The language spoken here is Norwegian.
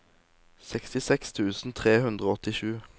sekstiseks tusen tre hundre og åttisju